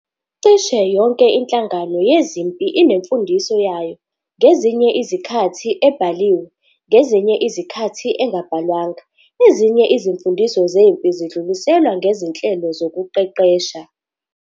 Cishe yonke inhlangano yezempi inemfundiso yayo, ngezinye izikhathi ebhaliwe, ngezinye izikhathi engabhalwanga. Ezinye izimfundiso zempi zidluliselwa ngezinhlelo zokuqeqesha.